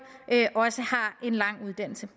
også har en lang uddannelse